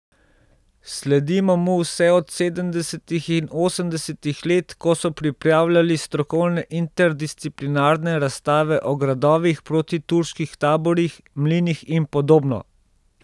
Sledimo mu vse od sedemdesetih in osemdesetih let, ko so pripravljali strokovne interdisciplinarne razstave o gradovih, protiturških taborih, mlinih in podobno.